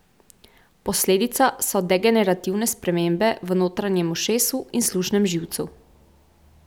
Posledica so degenerativne spremembe v notranjem ušesu in slušnem živcu.